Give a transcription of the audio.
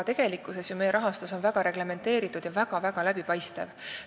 Tegelikkuses on aga meie rahastus väga reglementeeritud ja väga läbipaistev.